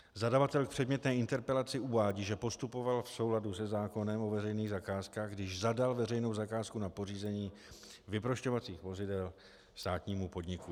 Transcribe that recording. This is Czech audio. Zadavatel v předmětné interpelaci (?) uvádí, že postupoval v souladu se zákonem o veřejných zakázkách, když zadal veřejnou zakázku na pořízení vyprošťovacích vozidel státnímu podniku.